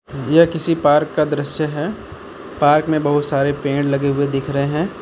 यह किसी पार्क का दृश्य है पार्क में बहुत सारे पेड़ लगे हुए दिख रहे हैं।